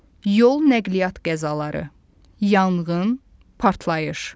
yol nəqliyyat qəzaları, yanğın, partlayış.